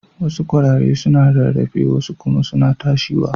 Wassu kwarare suna rarrafe wasu kuma suna tashiwa.